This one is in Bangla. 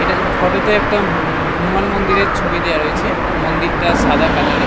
এটার ফটো তে একটা হ হনুমান মন্দিরের ছবি দেয়া রয়েছে মন্দিরটা সাদা কালার -এর।